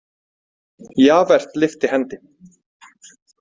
Javert lyfti hendi.